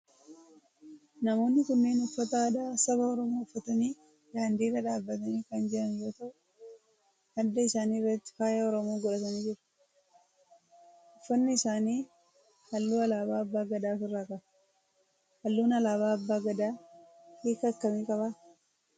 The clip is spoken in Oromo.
Namoonni kunneen uffata aadaa saba oromoo uffatanii daandii irra dhaabbatanii kan jiran yoo ta'u adda isaanii irratti faaya oromoo godhatanii jiru. Uffanni isaanii halluu alaabaa abbaa Gadaa of irraa qaba. Halluun alaabaa abbaa Gadaa hiika akkamii qaba?